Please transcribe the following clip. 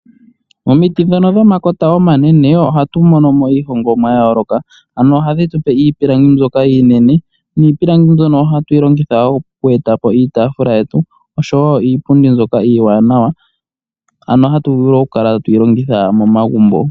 Momiti dhono dhomakota omanene, ohatu mono mo iihongomwa ya yooloka, ano ohadhi tupe iipilangi mbyoka iinene, niipilangi mbyono ohatu yi longitha wo okweetapo iitafula yetu, oshowo iipundi mbyoka iiwanawa, ano hatu vulu okukala atuyi longitha momagumbo.